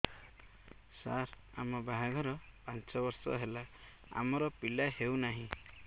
ସାର ଆମ ବାହା ଘର ପାଞ୍ଚ ବର୍ଷ ହେଲା ଆମର ପିଲା ହେଉନାହିଁ